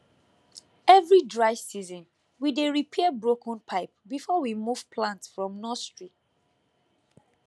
every dry season we dey repair broken pipe before we move plant from nursery